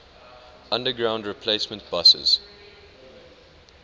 underground replacement buses